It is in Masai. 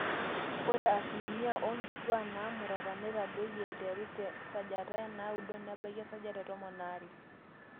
ore asilimia oonkituaak naamurata netadoyie aiteru te 9% nebaiki 12%